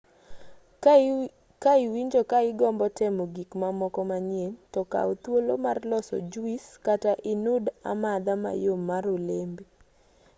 ka iwinjo ka igombo temo gik mamoko manyien to kaw thuolo mar loso juis kata inud amadha mayom mar olembe